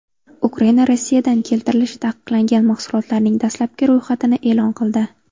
Ukraina Rossiyadan keltirilishi taqiqlangan mahsulotlarning dastlabki ro‘yxatini e’lon qildi.